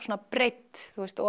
breidd